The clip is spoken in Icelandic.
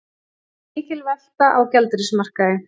Mikil velta á gjaldeyrismarkaði